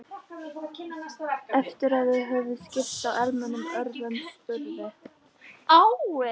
Eftir að þeir höfðu skipst á almennum orðum spurði